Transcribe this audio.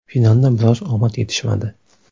Finalda biroz omad yetishmadi.